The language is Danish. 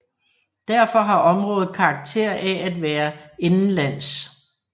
Derfor har området karakter af at være indenlands